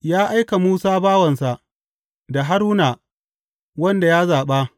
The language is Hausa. Ya aiki Musa bawansa, da Haruna, wanda ya zaɓa.